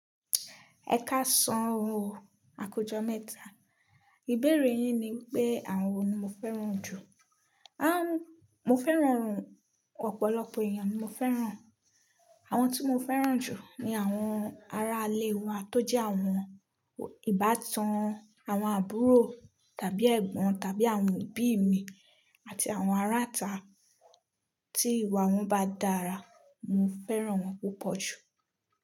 Ẹ ká san oo ọrọ à ku ojo mẹ́ta. Ìbéèrè yín ni wípé àwọn wo ni mo fẹ́ràn jù. Ah! Mo fẹ́ràn awon ọ̀pọ̀lọpọ̀ èèyàn ni mo fẹ́ràn. Àwọn tí mo fẹ́ràn jù ni àwọn ará ilé wa tó jẹ́ àwọn ìbátan, àwọn àbúrò tàbí ẹ̀gbọ́n tàbí àwọn ẹbí mi àti àwọn ará ita tí ìwà wọn bá dára. Mo fẹ́ràn wọn púpọ̀ jù.